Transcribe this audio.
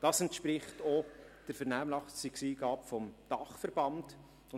Das entspricht auch der Vernehmlassungseingabe des Dachverbands.